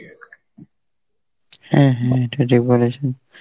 হ্যাঁ হ্যাঁ এটা ঠিক বলেছেন